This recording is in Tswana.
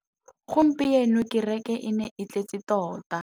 Gompieno kêrêkê e ne e tletse tota.